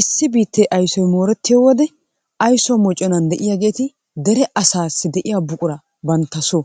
Issi biittee aysoy moorettiyo wode ayso mocconaan de'iyaageti dere asaassi de'iya buquraa bantta soo